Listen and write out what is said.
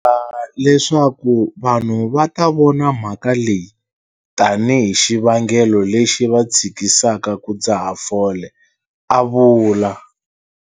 Tshembha leswaku vanhu va ta vona mhaka leyi tanihi xivangelo lexi va tshikisaka ku dzaha fole, a vula.